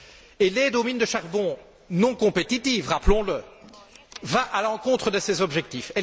Et l'aide aux mines de charbon, non compétitives, rappelons le, va à l'encontre de ces objectifs.